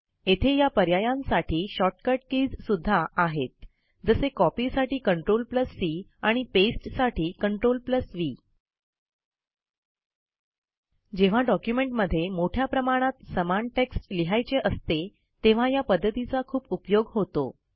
येथे या पर्यांयासाठी शॉर्टकट कीज सुध्दा आहेत जसे कॉपी साठी CTRL सी आणि पेस्ट साठी CTRLV जेव्हा डॉक्युमेंटमध्ये मोठ्या प्रमाणात समान टेक्स्ट लिहायचे असते तेव्हा या पध्दतीचा खूप उपयोग होतो